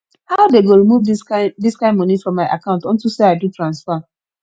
how dey go remove this kin this kin money from my account unto say i do transfer